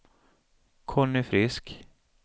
Conny Frisk